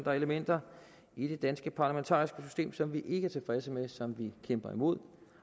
er elementer i det danske parlamentariske system som vi ikke er tilfredse med som vi kæmper imod